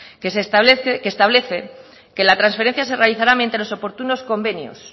que establece que la transferencia se realizará mediante oportunos convenios